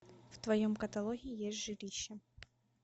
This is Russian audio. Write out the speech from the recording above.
в твоем каталоге есть жилище